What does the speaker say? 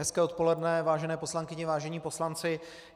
Hezké odpoledne, vážené poslankyně, vážení poslanci.